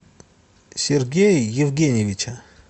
сергея евгеньевича